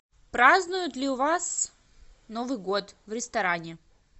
празднуют ли у вас новый год в ресторане